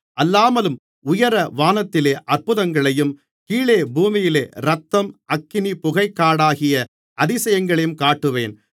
அல்லாமலும் உயர வானத்திலே அற்புதங்களையும் கீழே பூமியிலே இரத்தம் அக்கினி புகைக்காடாகிய அதிசயங்களையும் காட்டுவேன்